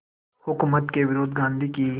हुकूमत के विरुद्ध गांधी की